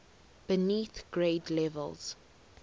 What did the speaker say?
beneath grade levels